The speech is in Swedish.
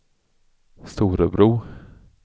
Storebro